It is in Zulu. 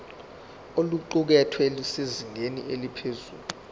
oluqukethwe lusezingeni eliphezulu